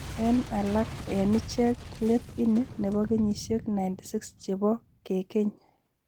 Eng alak eng ichek let ini ne bo kenyisiek 96 che bo kekeny.